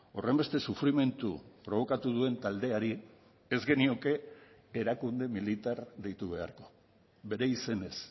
horrenbeste sufrimendu probokatu duen taldeari ez genioke erakunde militar deitu beharko bere izenez